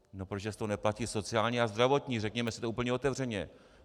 No protože z toho neplatí sociální a zdravotní, řekněme si to úplně otevřeně.